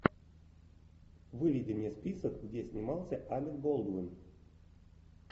выведи мне список где снимался алек болдуин